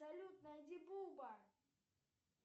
салют найди буба